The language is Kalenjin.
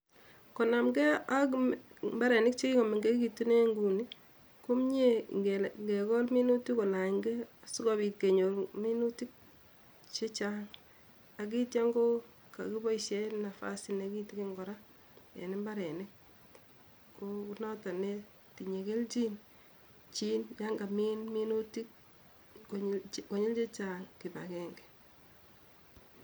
konamkee ak imbarenik chekikomeng'ekitun en ing'unii, komnyee ing'ekol minutik kolanykee sikopit kenyor minutik chechang akitio ko koboishen nabas nekitikin kora en imbarenik, noton netinye keljin chii yan kamin minutik konyil chechang kibakeng'e.